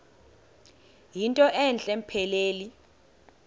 yinto entle mpelele